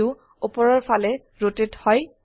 view উপৰৰ ফালে rotate হয়